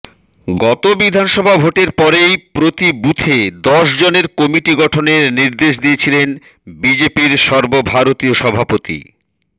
গত বিধানসভা ভোটের পরেই প্রতি বুথে দশ জনের কমিটি গঠনের নির্দেশ দিয়েছিলেন বিজেপির সর্বভারতীয় সভাপতি